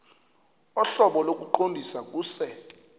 ohlobo lokuqondisa kuse